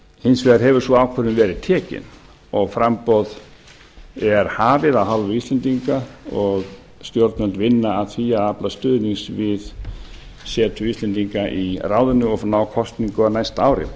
hins vegar hefur sú ákvörðun verið tekin og framboð er hafið af hálfu íslendinga og stjórnvöld vinna að því að afla stuðnings við setu íslendinga í ráðinu og ná kosningu á næsta ári